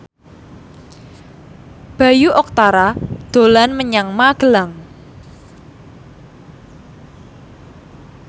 Bayu Octara dolan menyang Magelang